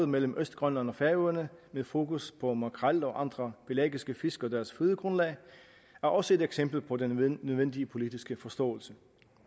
mellem østgrønland og færøerne med fokus på makrel og andre pelagiske fisk og deres fødegrundlag er også et eksempel på den nødvendige politiske forståelse